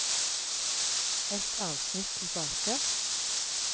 Ett avsnitt tilbake